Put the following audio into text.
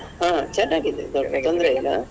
ಹ ಚೆನ್ನಾಗಿದ್ದೇವೆ ತೊಂದ್ರೆ ಇಲ್ಲ.